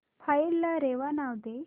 file ला रेवा नाव दे